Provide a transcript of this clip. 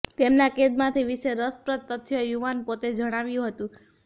તેમના કેદમાંથી વિશે રસપ્રદ તથ્યો યુવાન પોતે જણાવ્યું હતું